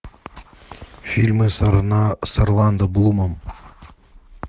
фильмы с орландо блумом